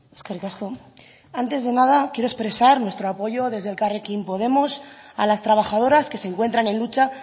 eskerrik asko antes de nada quiero expresar nuestro apoyo desde elkarrekin podemos a las trabajadoras que se encuentran en lucha